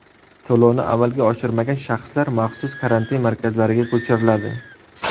To‘lovni amalga oshirmagan shaxslar maxsus karantin markazlariga ko‘chiriladi.